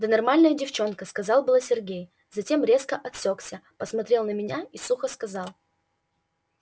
да нормальная девчонка начал было сергей затем резко осёкся посмотрел на меня и сухо сказал